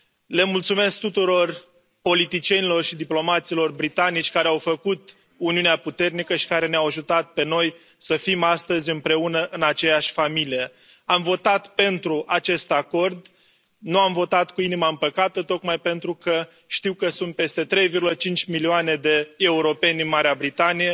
Le mulțumesc tuturor politicienilor și diplomaților britanici care au făcut Uniunea puternică și care ne au ajutat pe noi să fim astăzi împreună în aceeași familie. Am votat pentru acest acord, nu am votat cu inima împăcată tocmai pentru că știu că sunt peste 3,5 milioane de europeni în Marea Britanie.